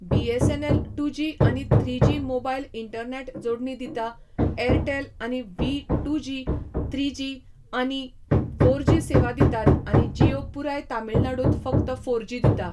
BSNL two G आनी three G mobile internet जोडणी दिता, एअरटेल आनी Vi two G, three G आनी फोर जी सेवा दितात आनी जियो पुराय तमिळनाडूंत फकत फोर जी दिता.